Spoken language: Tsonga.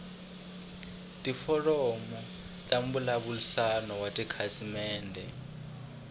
tiforamu ta mbulavurisano wa tikhasimende